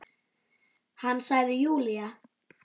Hann sagði Júlía!